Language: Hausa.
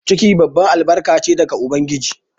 Ciki babban albarka che daga ubangiji.